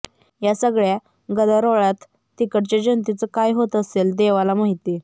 या सगळ्या गदारोळात तिकडच्या जनतेचे काय होत असेल देवाला माहिती